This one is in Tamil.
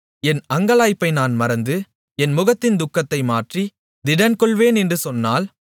என் அங்கலாய்ப்பை நான் மறந்து என் முகத்தின் துக்கத்தை மாற்றி திடன்கொள்வேன் என்று சொன்னால்